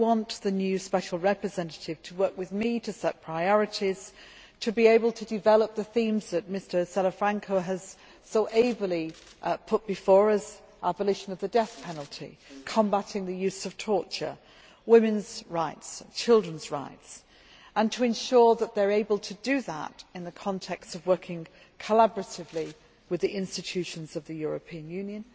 I want the new Special Representative to work with me to set priorities, to be able to develop the themes that Mr Salafranca has so ably put before us abolition of the death penalty, combating the use of torture, women's rights, children's rights, and to ensure that they are able to do that in the context of working collaboratively with the institutions of the European Union